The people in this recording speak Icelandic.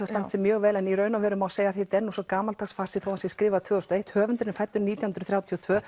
standa sig mjög vel en í raun og vera má segja að þetta er svo gamaldags farsi þótt hann sé skrifaður tvö þúsund og eitt höfundurinn fæddur nítján hundruð þrjátíu og tvö